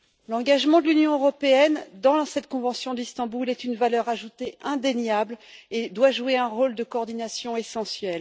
L'engagement de l'Union européenne dans cette convention d'Istanbul est une valeur ajoutée indéniable et doit jouer un rôle de coordination essentiel.